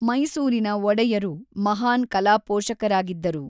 ಮೈಸೂರಿನ ಒಡೆಯರು ಮಹಾನ್ ಕಲಾಪೋಷಕರಾಗಿದ್ದರು.